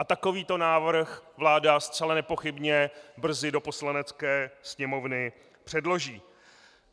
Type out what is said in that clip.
A takovýto návrh vláda zcela nepochybně brzy do Poslanecké sněmovny předloží.